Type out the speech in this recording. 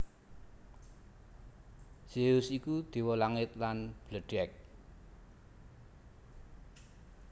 Zeus iku déwa langit lan bledhèg